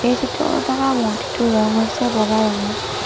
এই চিত্ৰখনত থকা মূৰ্ত্তিটোৰ ৰং হৈছে বগা ৰঙৰ।